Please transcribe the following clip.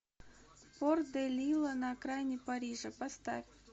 порт де лила на окраине парижа поставь